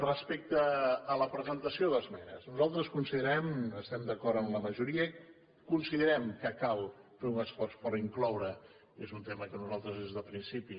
respecte a la presentació d’esmenes nosaltres considerem estem d’acord amb la majoria que cal fer un esforç per incloure i és un tema que nosaltres des del principi